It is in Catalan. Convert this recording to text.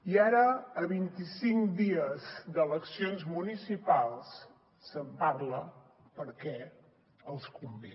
i ara a vint i cinc dies d’eleccions municipals se’n parla perquè els convé